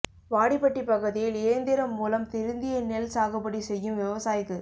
வாடிப்பட்டி பகுதியில் இயந்திரம் மூலம் திருந்திய நெல் சாகுபடி செய்யும் விவசாயிக்கு